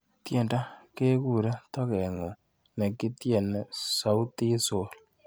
Tyendo kekure tokeng'ung nekityeni Sauti Sol.